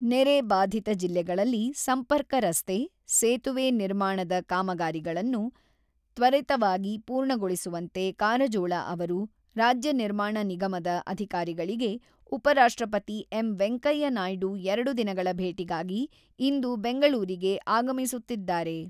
ನೆರೆ ಬಾಧಿತ ಜಿಲ್ಲೆಗಳಲ್ಲಿ ಸಂಪರ್ಕ ರಸ್ತೆ, ಸೇತುವೆ ನಿರ್ಮಾಣದ ಕಾಮಗಾರಿಗಳನ್ನು ತ್ವರಿತವಾಗಿ ಪೂರ್ಣಗೊಳಿಸುವಂತೆ ಕಾರಜೋಳ ಅವರು ರಾಜ್ಯ ನಿರ್ಮಾಣ ನಿಗಮದ ಅಧಿಕಾರಿಗಳಿಗೆ ಉಪರಾಷ್ಟ್ರಪತಿ ಎಂ.ವೆಂಕಯ್ಯ ನಾಯ್ಡು ಎರಡು ದಿನಗಳ ಭೇಟಿಗಾಗಿ ಇಂದು ಬೆಂಗಳೂರಿಗೆ ಆಗಮಿಸುತ್ತಿದ್ದಾರೆ.